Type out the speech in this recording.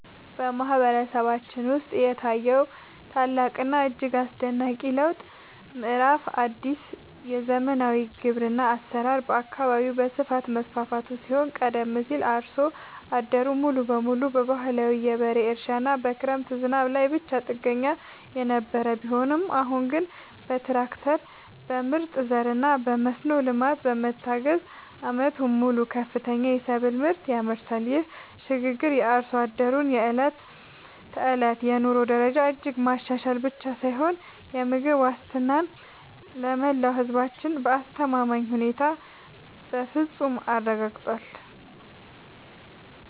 በማህበረሰባችን ውስጥ የታየው ታላቅና እጅግ አስደናቂ የለውጥ ምዕራፍ አዲስ የዘመናዊ ግብርና አሰራር በየአካባቢው በስፋት መስፋፋቱ ሲሆን ቀደም ሲል አርሶ አደሩ ሙሉ በሙሉ በባህላዊ የበሬ እርሻና በክረምት ዝናብ ላይ ብቻ ጥገኛ የነበረ ቢሆንም አሁን ግን በትራክተር፣ በምርጥ ዘርና በመስኖ ልማት በመታገዝ ዓመቱን ሙሉ ከፍተኛ የሰብል ምርት ያመርታል። ይህ ሽግግር የአርሶ አደሩን የዕለት ተዕለት የኑሮ ደረጃ እጅግ ማሻሻል ብቻ ሳይሆን የምግብ ዋስትናን ለመላው ህዝባችን በአስተማማኝ ሁኔታ በፍፁም አረጋግጧል።